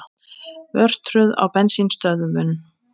Örtröð á bensínstöðvum